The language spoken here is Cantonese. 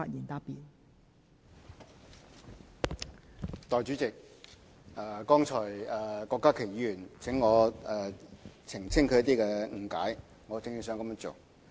代理主席，郭家麒議員剛才要求我澄清他的一些理解，我正打算這樣做。